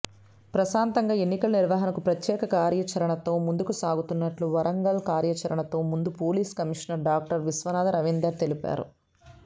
ప్రశాంతంగా ఎన్నికల నిర్వహణకు ప్రత్యేక కార్యాచరణతో ముందుసాగుతున్నట్లు వరంగల్ కార్యాచరణతో ముందు police commissioner doctor Vishwanatha Ravinder తెలిపారు